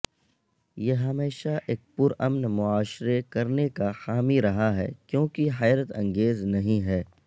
یہ ہمیشہ ایک پرامن معاشرے کرنے کا حامی رہا ہے کیونکہ حیرت انگیز نہیں ہے